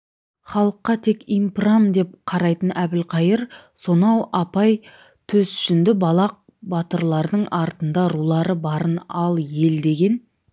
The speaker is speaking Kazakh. халыққа тек импрам деп қарайтын әбілқайыр сонау апай төс жүнді балақ батырлардың артында рулары барын ал ел деген